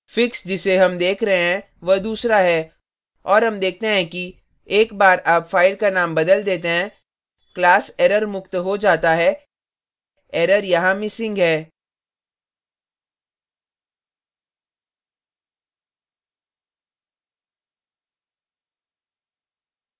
fix जिसे हम देख रहे हैं वह दूसरा है और हम देखते हैं कि एक बार आप file का नाम बदल देते हैं class error मुक्त हो जाता है error यहाँ missing है